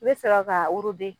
I bɛ sɔrɔ ka